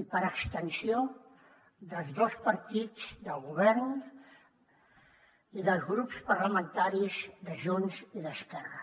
i per extensió dels dos partits del govern i dels grups parlamentaris de junts i d’esquerra